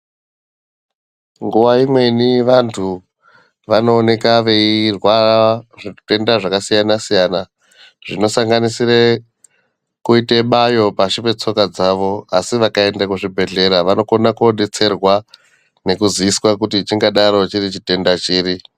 Nguwa inweni vantu vanooneka veirwara zvitenda zvakasiyanasiyana zvinosanganisire kuite bayo pashi petsoka dzavo asi vakaenda kuzvibhehlera vanokona kodetserwa nekuziviswa kuti chingadaro chiri chitenda chiri.